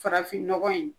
Farafin nɔgɔ in